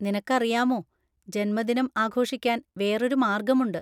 നിനക്കറിയാമോ, ജന്മദിനം ആഘോഷിക്കാൻ വേറൊരു മാർഗമുണ്ട്.